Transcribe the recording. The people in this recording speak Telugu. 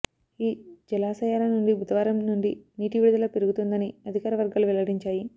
ఈ జలాశయాల నుండి బుధవారం నుండి నీటి విడుదల పెరుగుతుందని అధికార వర్గాలు వెల్లడించాయి